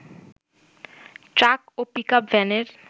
truck ও pickup ভ্যানের